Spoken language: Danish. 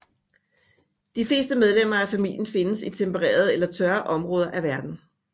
Det fleste medlemmer af familien findes i tempererede eller tørre områder af verden